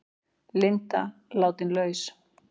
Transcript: Linda látin laus